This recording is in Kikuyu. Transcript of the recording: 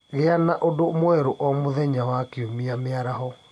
Gĩa na ũndũ mwerũ o mũthenya wa Kiumia mĩaraho